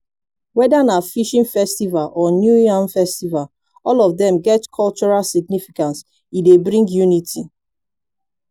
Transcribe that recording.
weda na fishing festival or new yam festival all of dem get cultural significance e dey bring unity